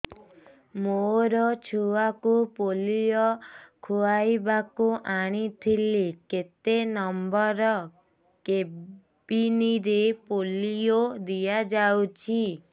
ମୋର ଛୁଆକୁ ପୋଲିଓ ଖୁଆଇବାକୁ ଆଣିଥିଲି କେତେ ନମ୍ବର କେବିନ ରେ ପୋଲିଓ ଦିଆଯାଉଛି